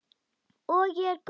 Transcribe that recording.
Og ég er góð.